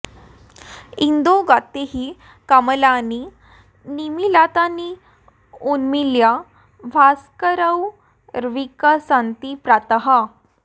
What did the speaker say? इन्दौ गते हि कमलानि निमीलितानि उन्मील्य भास्करकरैर्विकसन्ति प्रातः